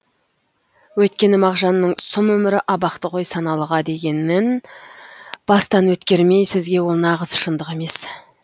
өйткені мағжанның сұм өмір абақты ғой саналыға дегенін бастан өткермей сізге ол нағыз шындық емес